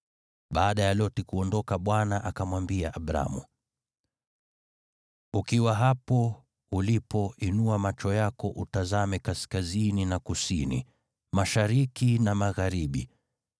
Baada ya Loti kuondoka Bwana akamwambia Abramu, “Ukiwa hapo ulipo, inua macho yako utazame kaskazini na kusini, mashariki na magharibi.